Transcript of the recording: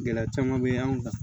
Gɛlɛya caman bɛ anw kan